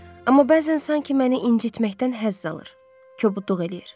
Amma bəzən sanki məni incitməkdən həzz alır, kobudluq eləyir.